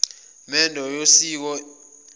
mendo yokosiko ibihlala